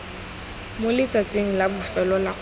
moletsatsing la bofelo la kgwedi